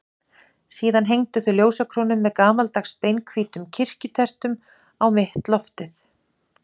Síðan hengdu þau ljósakrónu með gamaldags, beinhvítum kirkjukertum á mitt loftið.